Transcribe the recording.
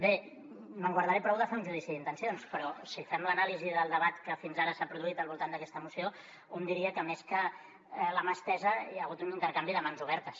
bé me’n guardaré prou de fer un judici d’intencions però si fem l’anàlisi del debat que fins ara s’ha produït al voltant d’aquesta moció un diria que més que la mà estesa hi ha hagut un intercanvi de mans obertes